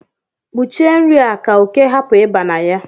Kpuchie nri a ka oke hapụ ịba na ya